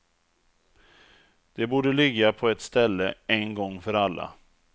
De borde ligga på ett ställe en gång för alla.